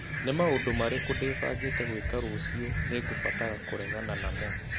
Nĩ maũndũ marĩkũ ndĩbangĩte gwĩka rũciũ nĩ ngũbatara kũregana namo